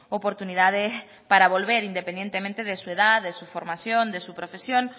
oportunidades para volver independientemente de su edad de su formación de su profesión